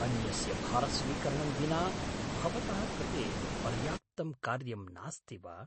अन्यस्य भारस्वीकरणं विना भवतः कृते पर्याप्तं कार्यं नास्ति वा?